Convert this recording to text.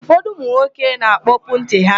Ụfọdụ ụmụnwoke na-akpọpu ntị ha.